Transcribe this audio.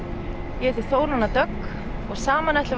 ég heiti Þóranna Dögg og saman ætlum